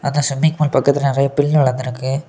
அந்த swimming pool பக்கத்துல நறைய பில் வளர்ந்திருக்கு.